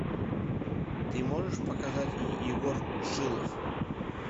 ты можешь показать егор шилов